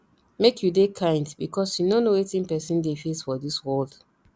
make you dey kind because you no know wetin person dey face for dis world